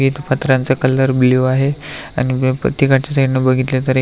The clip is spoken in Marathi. इथ पत्र्याचा कलर ब्ल्यु आहे आणि प्रतेकाच्या साइडन बघितल तर --